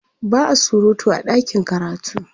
ba'a surutu a ɗakin karatu